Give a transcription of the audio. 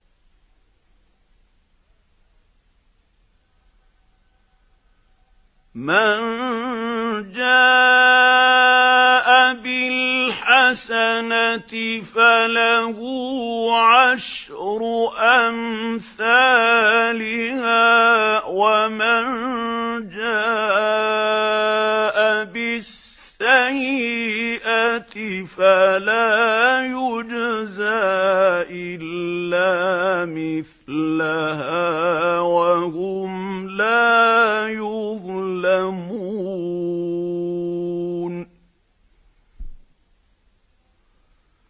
مَن جَاءَ بِالْحَسَنَةِ فَلَهُ عَشْرُ أَمْثَالِهَا ۖ وَمَن جَاءَ بِالسَّيِّئَةِ فَلَا يُجْزَىٰ إِلَّا مِثْلَهَا وَهُمْ لَا يُظْلَمُونَ